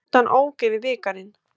Rútan ók yfir bikarinn